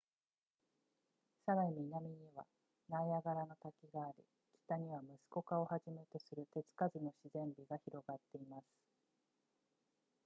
さらに南にはナイアガラの滝があり北にはムスコカをはじめとする手つかずの自然美が広がっています